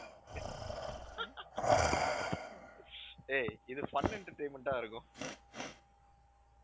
ஏய் இது fun entertainment ஆ இருக்கும்